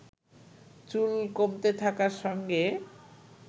চুল কমতে থাকার সঙ্গে